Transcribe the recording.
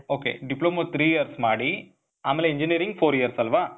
ok. Diploma three years ಮಾಡಿ, ಆಮೇಲೆ engineering four years ಅಲ್ವಾ?